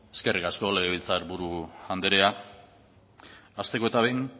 eskerrik asko legebiltzar buru andrea hasteko eta behin